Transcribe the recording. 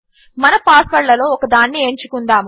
మన పాస్వర్డ్లలో ఒక దానిని ఎంచుకుందాము